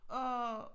Og